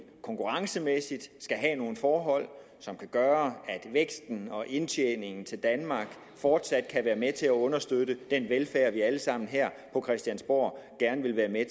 konkurrencemæssigt skal have nogle forhold som kan gøre at væksten og indtjeningen til danmark fortsat kan være med til at understøtte den velfærd vi alle sammen her på christiansborg gerne vil være med